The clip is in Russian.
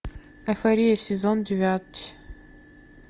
эйфория сезон девять